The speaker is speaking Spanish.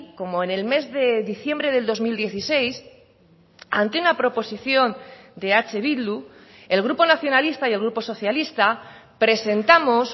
como en el mes de diciembre del dos mil dieciséis ante una proposición de eh bildu el grupo nacionalista y el grupo socialista presentamos